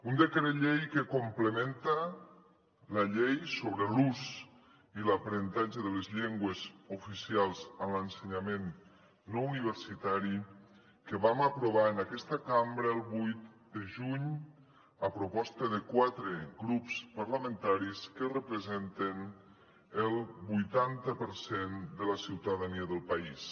un decret llei que complementa la llei sobre l’ús i l’aprenentatge de les llengües oficials en l’ensenyament no universitari que vam aprovar en aquesta cambra el vuit de juny a proposta de quatre grups parlamentaris que representen el vuitanta per cent de la ciutadania del país